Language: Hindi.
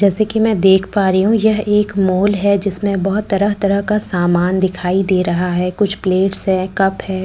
जैसे कि मैं देख पा रही हूँ यह एक मॉल है जिसमें बहुत तरह तरह का सामान दिखाई दे रहा है कुछ प्लेट्स हैं कप हैं कटोरियाँ --